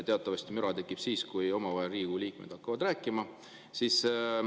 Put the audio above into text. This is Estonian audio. Teatavasti müra tekib siis, kui Riigikogu liikmed hakkavad omavahel rääkima.